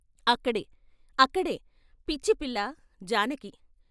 అక్కడే, అక్కడే, పిచ్చిపిల్ల ! జానకి